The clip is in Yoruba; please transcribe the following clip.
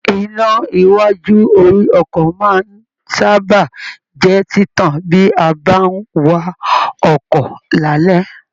Iná iwájú orí ọkọ máa n sábà jẹ títàn bi a bá n wa ọkọ lalẹ.